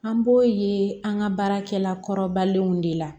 An b'o ye an ka baarakɛla kɔrɔbalenw de la